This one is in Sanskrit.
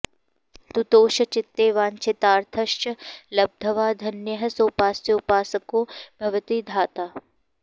तुतोष चित्ते वाञ्छितार्थांश्च लब्ध्वा धन्यः सोपास्योपासको भवति धाता